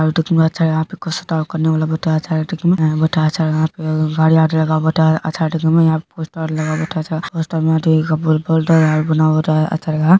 कितना अच्छा है यह पे हे यहा पे खुच स्टाफ़ करने वाल बेठा छे बेठा छे हरियाला लगा बेठा अच्छा यहा पोस्टर पोस्टर लगा बेठा पोस्तेर में खुच बना हुवा हे अच्छा लग रहा हे।